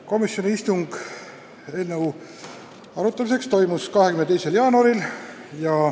Komisjoni istung eelnõu arutamiseks toimus 22. jaanuaril.